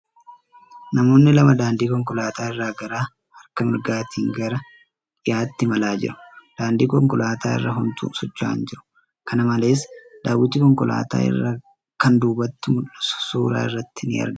Namoonni lama daandii konkolaataa irra garaa harka mirgaatiin gara dhiyaatti imalaa jiru. Daandii konkolaataa irra homtuu socho'aa hin jiru. Kana malees ,daawwitiin konkolaataa irraa kan duubatti mul'isu suura irratti ni argama.